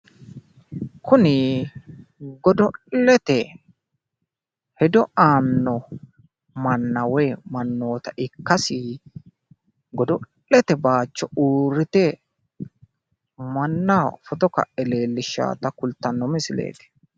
kuni godo'lete hedo aanno mannooota ikkaasi, godo'lete bayicho uurrite mannaho footo ka'e leelishshaata kultanno misileeti.